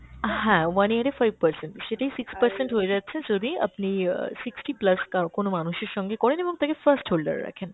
হ্যাঁ one year এ five percent, সেটাই six percent হয়ে যাচ্ছে যদি আপনি আহ sixty plus কা~ কোনো মানুষের সঙ্গে করেন এবং তাকে first holder রাখেন।